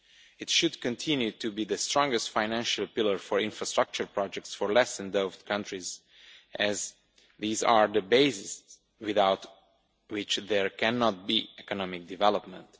It should continue to be the strongest financial pillar for infrastructure projects for less endowed countries, as these are the bases without which there cannot be economic development.